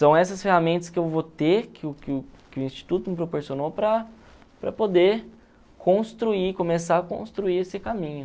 São essas ferramentas que eu vou ter, que o que o que o Instituto me proporcionou para para poder construir, começar a construir esse caminho.